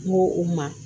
N ko o ma